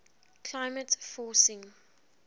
climate forcing